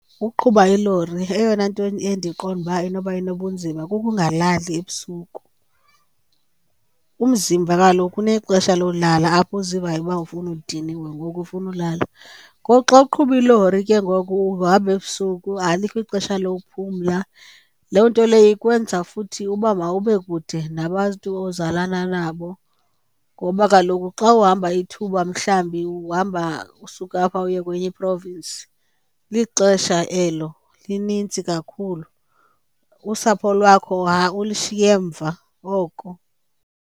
Uqhuba ilori eyona nto endiqonda uba inoba inobunzima kukungalali ebusuku. Umzimba kaloku unexesha lolala apho uzivayo uba ufuna, udiniwe ngoku ufuna ulala. Ngoku xa uqhuba ilori ke ngoku uhamba ebusuku alikho ixesha lokuphumla. Loo nto leyo ikwenza futhi uba mawube kude nabantu ozalana nabo, ngoba kaloku xa uhamba ithuba mhlawumbi uhamba usuka apha uye kwenye i-province lixesha elo linintsi kakhulu, usapho lwakho ulishiye emva oko.